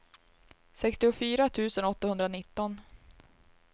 sextiofyra tusen åttahundranitton